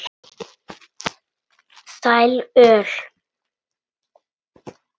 Sæl öll.